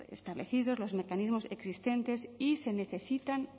establecidos los mecanismos existentes y se necesitan